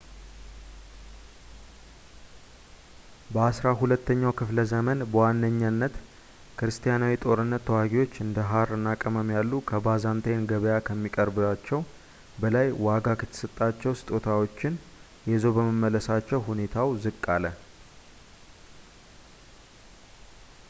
በዐሥራ ሁለተኛው ክፍለ ዘመን በዋነኝነት ክርስቲያናዊ ጦርነት ተዋጊዎች እንደ ሃር እና ቅመም ያሉ ከባይዛንታይን ገበያ ከሚያቀርባቸው በላይ ዋጋ የተሰጣቸው ስጦታዎችን ይዘው በመመለሳቸው ሁኔታው ዝቅ አለ